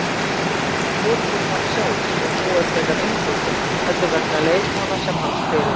Ekki vegna fótboltans sjálfs, sem er nú frekar einfaldur, heldur vegna leikmanna sem hann spila.